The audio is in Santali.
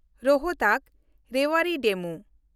ᱨᱳᱦᱛᱟᱠ–ᱨᱮᱣᱟᱲᱤ ᱰᱮᱢᱩ